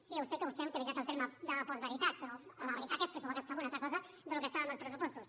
sí a vostè que vostè ha utilitzat el terme de la postveritat però la veritat és que s’ho va gastar en una altra cosa del que estava en els pressupostos